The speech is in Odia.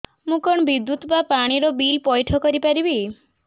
ମୁ କଣ ବିଦ୍ୟୁତ ବା ପାଣି ର ବିଲ ପଇଠ କରି ପାରିବି